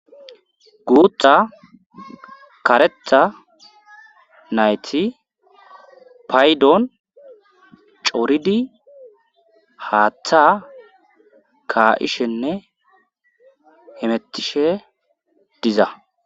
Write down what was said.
guutha karetha nayti paydon cooridi haaththa ka7ishenne hemettishe diza